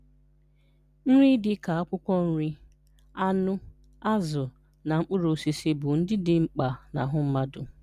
Nri dị ka akwụkwọ nri, anụ, azụ, na mkpụrụ osisi bụ ndị dị mkpa n’ahụ mmadụ.